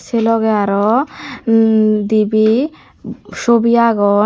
sey loge arow emm dibey sobi agon.